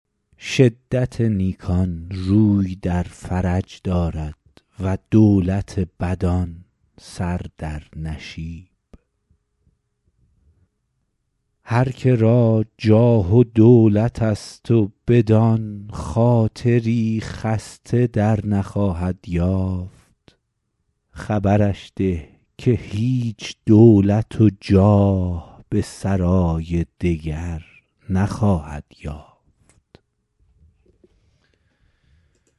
شدت نیکان روی در فرج دارد و دولت بدان سر در نشیب هر که را جاه و دولت است و بدان خاطری خسته در نخواهد یافت خبرش ده که هیچ دولت و جاه به سرای دگر نخواهد یافت